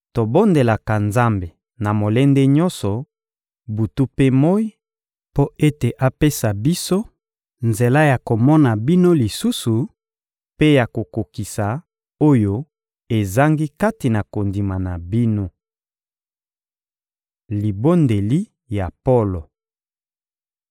Tobondelaka Nzambe na molende nyonso, butu mpe moyi, mpo ete apesa biso nzela ya komona bino lisusu mpe ya kokokisa oyo ezangi kati na kondima na bino. Libondeli ya Polo